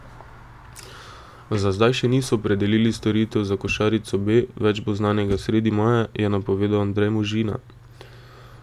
Za zdaj še niso opredelili storitev za košarico B, več bo znanega sredi maja, je napovedal Andrej Možina.